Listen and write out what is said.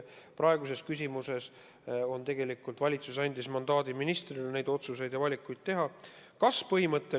Praeguses küsimuses andis valitsus tegelikult mandaadi need otsused ja valikud teha ministrile.